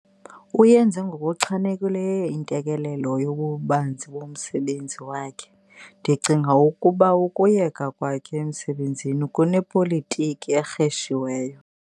Uyenze ngokuchanekileyo intelekelelo yobubanzi bomsebenzi wakhe. ndicinga ukuba ukuyeka kwakhe emsebenzini kunepolitiki erheshiweyo